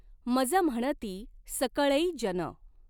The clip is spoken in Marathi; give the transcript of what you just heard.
मज म्हणती सकळै जन।